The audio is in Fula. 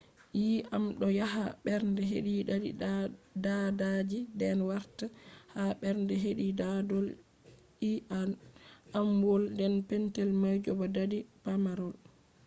yii’am do yaha bernde hedi dadi daadaaji den wartaa ha bernde hedi dadol-ii’amwol ,den petel maji bo dadi pamarol